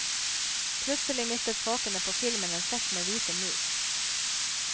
Plutselig mistet folkene på filmen en sekk med hvite mus.